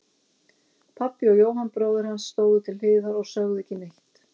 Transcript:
Pabbi og Jóhann bróðir hans stóðu til hliðar og sögðu ekki neitt.